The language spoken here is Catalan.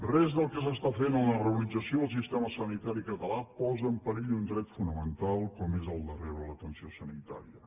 res del que s’està fent amb la reorganització del sistema sanitari català posa en perill un dret fonamental com és el de rebre l’atenció sanitària